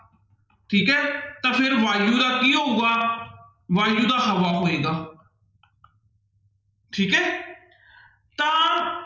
ਠੀਕ ਹੈ ਤਾਂ ਫਿਰ ਵਾਯੂ ਦਾ ਕੀ ਹੋਊਗਾ ਵਾਯੂ ਦਾ ਹਵਾ ਹੋਵੇਗਾ ਠੀਕ ਹੈ ਤਾਂ